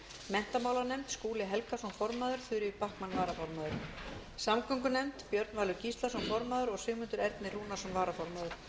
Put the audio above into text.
menntamálanefnd skúli helgason formaður þuríður backman varaformaður samgöngunefnd björn valur gíslason formaður sigmundur ernir rúnarsson varaformaður